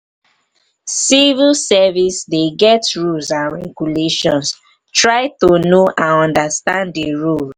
civil service dey get rules and regulations try to know and understand di rule